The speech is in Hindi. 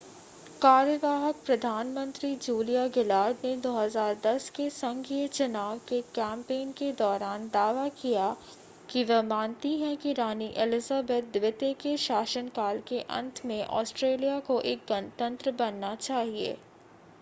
कार्यवाहक प्रधानमंत्री जूलिया गिलार्ड ने 2010 के संघीय चुनाव के कैंपेन के दौरान दावा किया कि वह मानती हैं कि रानी एलिजाबेथ द्वितीय के शासनकाल के अंत में ऑस्ट्रेलिया को एक गणतंत्र बनना चाहिए